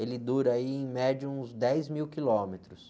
Ele dura aí em média uns dez mil quilômetros.